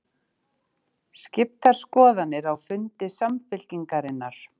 Skiptar skoðanir á fundi Samfylkingarinnar